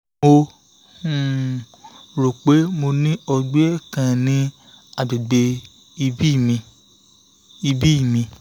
mo ro pe mo ní ọgbẹ́ kan ní àgbègbè ìbí mi ìbí mi